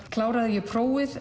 kláraði ég prófið